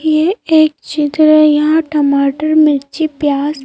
ये एक जगह है यहां टमाटर मिर्ची प्याज--